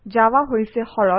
Java হৈছে সৰল